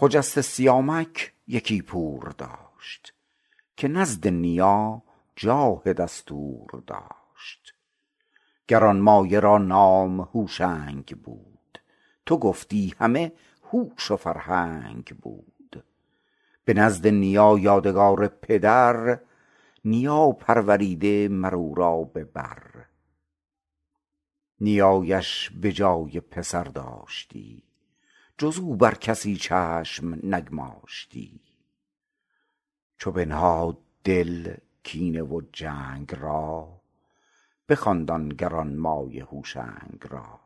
خجسته سیامک یکی پور داشت که نزد نیا جاه دستور داشت گرانمایه را نام هوشنگ بود تو گفتی همه هوش و فرهنگ بود به نزد نیا یادگار پدر نیا پروریده مر او را به بر نیایش به جای پسر داشتی جز او بر کسی چشم نگماشتی چو بنهاد دل کینه و جنگ را بخواند آن گرانمایه هوشنگ را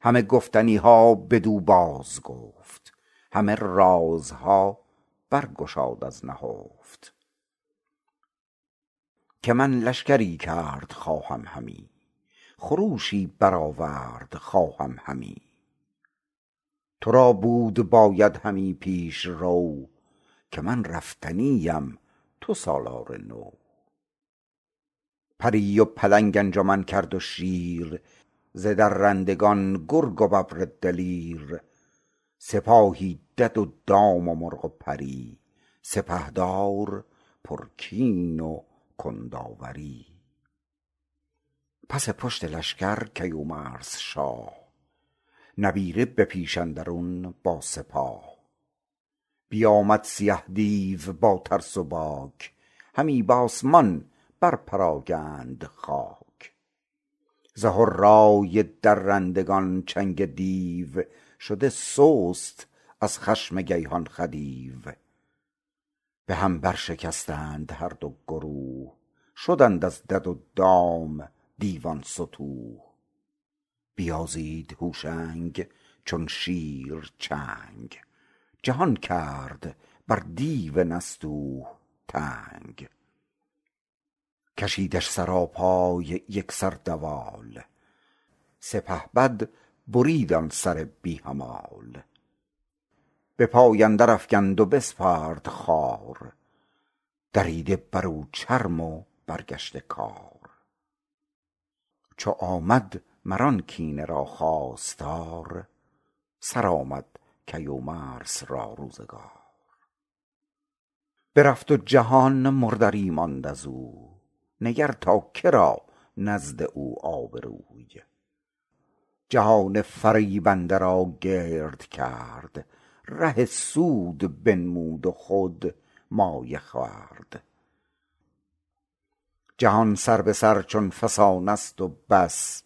همه گفتنی ها بدو بازگفت همه رازها بر گشاد از نهفت که من لشکری کرد خواهم همی خروشی برآورد خواهم همی تو را بود باید همی پیشرو که من رفتنی ام تو سالار نو پری و پلنگ انجمن کرد و شیر ز درندگان گرگ و ببر دلیر سپاهی دد و دام و مرغ و پری سپهدار پرکین و کنداوری پس پشت لشکر کیومرث شاه نبیره به پیش اندرون با سپاه بیامد سیه دیو با ترس و باک همی بآسمان بر پراگند خاک ز هرای درندگان چنگ دیو شده سست از خشم کیهان خدیو به هم برشکستند هر دو گروه شدند از دد و دام دیوان ستوه بیازید هوشنگ چون شیر چنگ جهان کرد بر دیو نستوه تنگ کشیدش سراپای یک سر دوال سپهبد برید آن سر بی همال به پای اندر افگند و بسپرد خوار دریده بر او چرم و برگشته کار چو آمد مر آن کینه را خواستار سرآمد کیومرث را روزگار برفت و جهان مردری ماند ازوی نگر تا که را نزد او آبروی جهان فریبنده را گرد کرد ره سود بنمود و خود مایه خورد جهان سر به سر چو فسانست و بس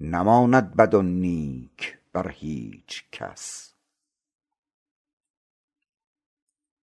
نماند بد و نیک بر هیچ کس